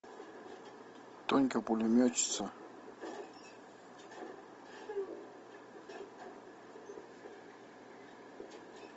тонька пулеметчица